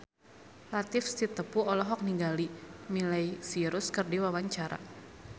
Latief Sitepu olohok ningali Miley Cyrus keur diwawancara